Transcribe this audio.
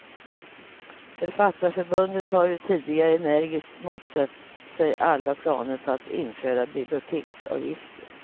Författarförbundet har ju tidigare energiskt motsatt sig alla planer på att införa biblioteksavgifter.